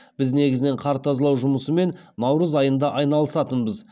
біз негізінен қар тазалау жұмысымен наурыз айында айналысатынбыз